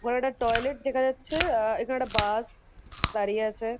ওপরে একটা টয়লেট দেখা যাচ্ছে। আ এখানে একটা বাস-স-স দাঁড়িয়ে আছে।